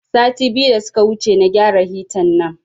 Sati biyu da suka wuce na gyara hita nan